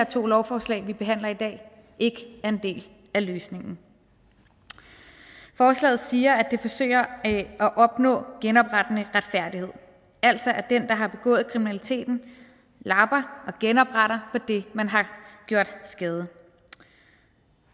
to lovforslag vi behandler i dag ikke er en del af løsningen forslaget siger at det forsøger at opnå genoprettende retfærdighed altså at den der har begået kriminaliteten lapper og genopretter på det man har gjort skade